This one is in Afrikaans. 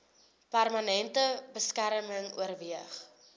permanente beskerming oorweeg